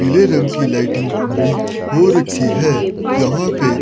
पीले रंग की लाइटिंग भी हो रखी है यहां पे--